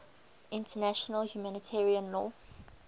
international humanitarian law